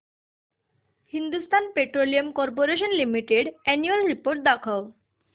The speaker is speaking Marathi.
Hindustan petroleum corporation limited annual report दाखव